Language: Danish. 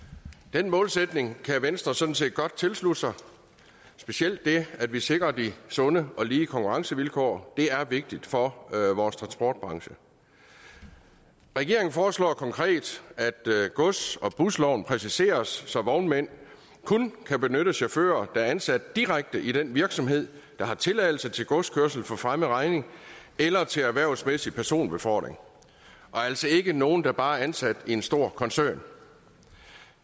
den målsætning kan venstre sådan set godt tilslutte sig specielt det at vi sikrer de sunde og lige konkurrencevilkår det er vigtigt for vores transportbranche regeringen foreslår konkret at gods og busloven præciseres så vognmænd kun kan benytte chauffører der er ansat direkte i den virksomhed der har tilladelse til godskørsel for fremmed regning eller til erhvervsmæssig personbefordring og altså ikke nogle der bare er ansat i en stor koncern